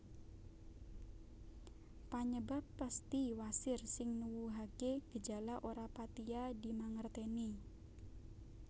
Panyebab pesthi wasir sing nuwuhake gejala ora patiya dimangerteni